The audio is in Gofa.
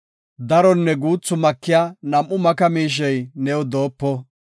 Daronne guuthi makiya nam7u maka miishey new doopo.